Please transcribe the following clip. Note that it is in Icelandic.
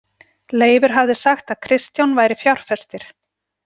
Leifur hafði sagt að Kristján væri fjárfestir.